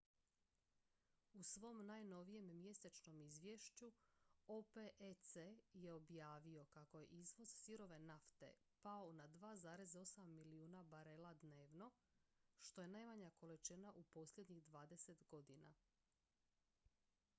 u svom najnovijem mjesečnom izvješću opec je objavio kako je izvoz sirove nafte pao na 2,8 milijuna barela dnevno što je najmanja količina u posljednjih dvadeset godina